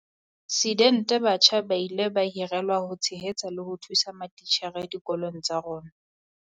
sidente batjha ba ile ba hirelwa ho tshehetsa le ho thusa matitjhere dikolong tsa rona.